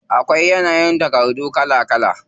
Akwai yanayin takardu kala kala.